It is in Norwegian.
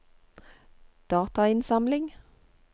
datainnsamling